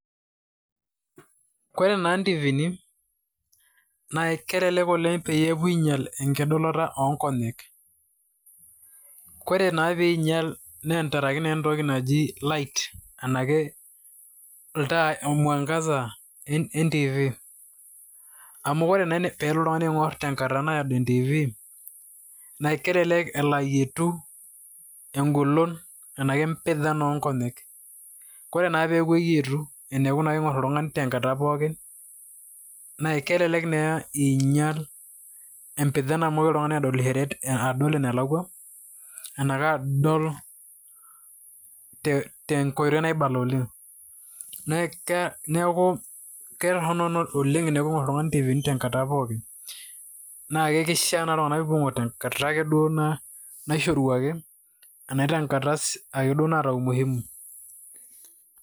Koree naa ntivini, naa kelelek oleng' pee epuoi ainyel enkitodolota oonkonyek. koree naa peinyal naa tenkaraki entoki naji light anaake ltai o mwangaza entivi. amu ore naa pilo oltung'ani aing'ur tenkata naado entivi na kelelek elo ayietu eng'olon empijan oonkonyek. koree naa pee eyietu teneku eing'or oltung'ani tenkata pookin na kelelek naa inyal empijan amu migil oltung'ani adol enalakwa ena kadol te tenkoitoi naibala oleng' neaku keeta ketoronok teningur oltung'ani entivi tenkata naado oleng',na keisha ake peepuo ltung'anak aing'or tenkata naishoruaki ana tenkata ake duo naata umuhimu.